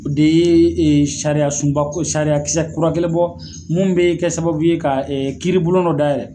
O de ye ee sariya sunba ko sariya kisɛba kura kelen bɔ munnu be kɛ sababu ye ka kiiribulon dɔ dayɛlɛ.